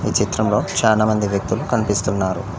ఈ చిత్రంలో చానామంది వ్యక్తులు కనిపిస్తున్నారు.